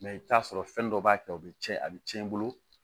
i bɛ t'a sɔrɔ fɛn dɔ b'a kɛ o bɛ tiɲɛ a bɛ tiɲɛ i bolo